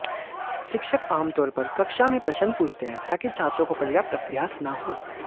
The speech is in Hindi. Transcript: शिक्षक आमतौर पर कक्षा में प्रश्न पूछते हैं ताकि छात्रों को पर्याप्त अभ्यास न हो